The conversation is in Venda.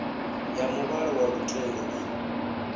ya muvhala wa lutendo i